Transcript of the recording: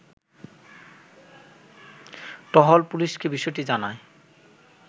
টহল পুলিশকে বিষয়টি জানায়